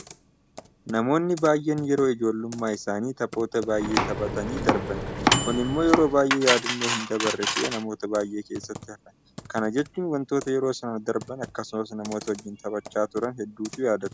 Namoonni baay'een yeroo ijoollummaa isaanii taphoota baay'ee taphatanii darban. Kun immoo yeroo baay'ee yaadannoo hin dabarre ta'ee namoota baay'ee keessatti hafa. Kana jechuun waantota yeroo sana darban akkasumas namoota wajjin taphachaa turan hedduutu yaadatama.